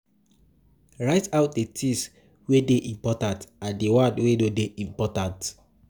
Write out di things wey dey important and di one wey no dey important